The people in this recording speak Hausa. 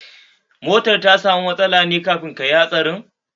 Motar ta samu matsala ne kafin kayi hatsarin?